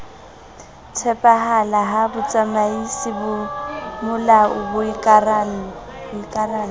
tshepahala ha botsamaisi bomolao boikarallo